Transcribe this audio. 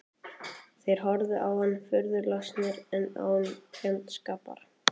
Þeir horfðu á hann furðu lostnir en án fjandskapar.